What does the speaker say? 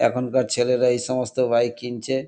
এখনকার ছেলেরা এইসমস্ত বাইক কিনছে।